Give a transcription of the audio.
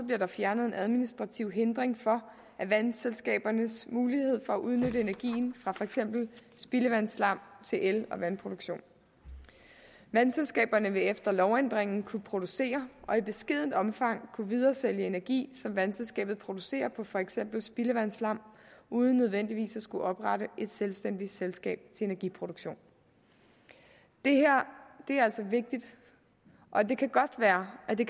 bliver der fjernet en administrativ hindring for vandselskabernes mulighed for at udnytte energien fra for eksempel spildevandsslam til el og vandproduktion vandselskaberne vil efter lovændringen kunne producere og i beskedent omfang kunne videresælge energi som vandselskabet producerer på for eksempel spildevandsslam uden nødvendigvis at skulle oprette et selvstændigt selskab til energiproduktion det her er altså vigtigt og det kan godt være at det